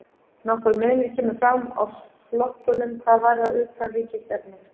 Nokkur munur kemur fram á flokkunum hvað varðar utanríkisstefnu.